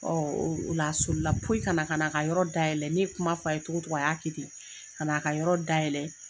o la a solila poyi kana kan'a ka yɔrɔ da yɛlɛ. Ne ye kuma f'a ye togo togo, a y'a kɛ ten. Kan'a ka yɔrɔ da yɛlɛ